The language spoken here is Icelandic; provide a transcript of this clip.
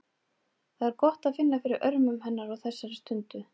Það er gott að finna fyrir örmum hennar á þessari stundu.